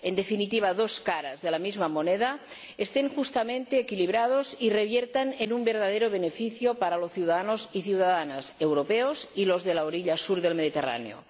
en definitiva, dos caras de la misma moneda— estén justamente equilibrados y reviertan en un verdadero beneficio para los ciudadanos y ciudadanas europeos y los de la orilla sur del Mediterráneo.